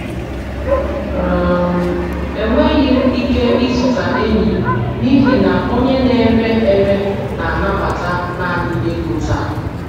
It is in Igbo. um Enweghị m ike ịzụta eyịm n'ihi na onye na-ere ere na-anabata naanị ego taa.